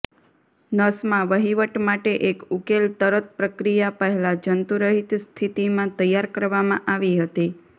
નસમાં વહીવટ માટે એક ઉકેલ તરત પ્રક્રિયા પહેલાં જંતુરહિત સ્થિતિમાં તૈયાર કરવામાં આવી હતી